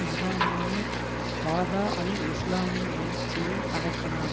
முகாமான பதா அல் இஸ்லாமின் எழுச்சியை அடக்கினார்